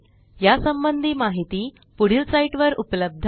या संबंधी माहिती पुढील साईटवर उपलब्ध आहे